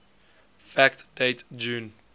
fact date june